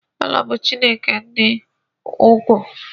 Allah bu Chineke di uku